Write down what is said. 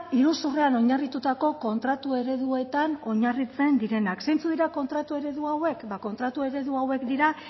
iruzurra oinarritutako kontratu ereduetan oinarritzen direnak zeintzuk dira kontratu eredu hauek ba kontratu eredu hauek dira